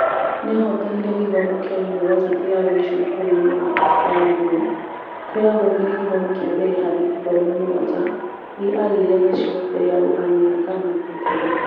Nĩ ahotanire gĩthomo kĩa yunivasĩtĩ ya Vision bũrũri-inĩ wa Afrika ya Mũhuro, kũrĩa aathomeire gĩthomo kĩa mbere harĩ ithomo mũgwanja iria aagĩire nacio mbere ya gũthamĩra Ghana kũrutana.